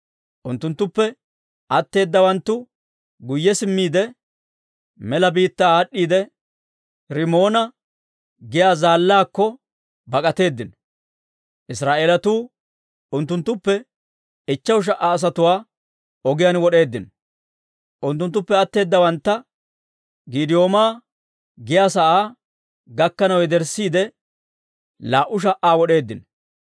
Unttuttuppe atteeddawanttu guyye simmiide, mela biittaa aad'd'iide, Rimoona giyaa zaallaakko bak'atteedino; Israa'eelatuu unttuttuppe ichcheshu sha"a asatuwaa ogiyaan wod'eeddino; unttunttuppe atteedawantta Giidi'ooma giyaa sa'aa gakkanaw yederssiide, laa"u sha"aa wod'eeddino.